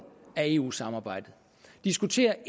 af eu samarbejdet diskutere